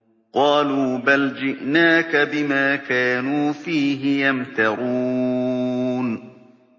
قَالُوا بَلْ جِئْنَاكَ بِمَا كَانُوا فِيهِ يَمْتَرُونَ